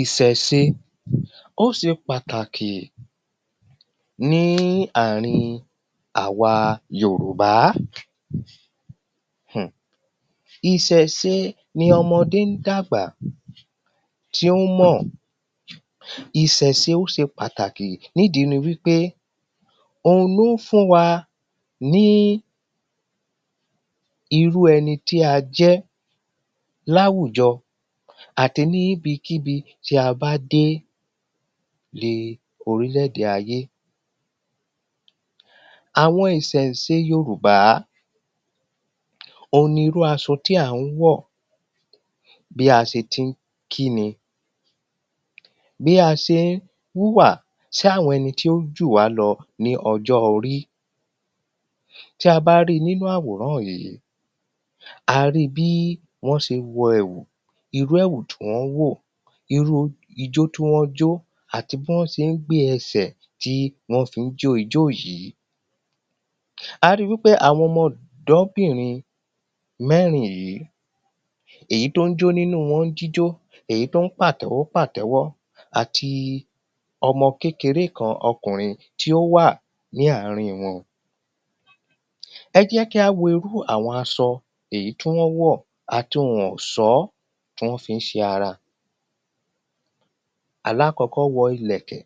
ìsẹ̀se, ó se pàtàkì ní àrin àwa Yòròbá. ìsẹ̀se ni ọmọdé ń dábà tí ó mọ̀ ìsẹ̀se ó se pàtàkì níìdí ni wípé ohun ló ń fún wa ní irú ẹni tí a jẹ́ láwùjọ àti ní ibikíbi tí a bá dé ní orílẹ̀ èdè ayé. Àwọn ìsẹ̀se Yorùbá òhun ni irú asọ tí à ń wọ̀, bí a ṣe ti ń kíni, bí a se ń wúwà sí àwọn ẹni tí ó jùwá lọ ní ọjọ́ orí tí a bá rí nínú àwòrán yìí a rí bí wọ́n ṣe wọ ẹ̀wù, irú ẹ̀wù tí wọ́n wọ̀, irúu ijó tí wọ́n jó àti bí wọ́n se ń gbé ẹsẹ̀ tí wọ́n fi ń jó ijó yìí. A ri wí pé àwọn ọmọ ọ̀dọ́bìrin mẹ́rin yìí, èyí tó ń jó nínú wọn ní jíjó, èyí tó ń pàtẹ́wọ́ pàtẹ́wọ́ àti ọmọ kékeré kan ọkùnrin tí ó wà ní àárín wọn. Ẹ jẹ́ kí á wo irú àwọn asọ èyí tí wọ́n wọ̀ àti ohun ọ̀sọ́ tí wọ́n fi ń ṣe ara alákọ̀ọ́kọ́ wọ ìlẹ̀kẹ̀,